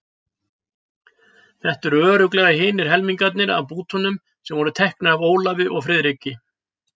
Þetta eru örugglega hinir helmingarnir af bútunum sem voru teknir af Ólafi og Friðriki.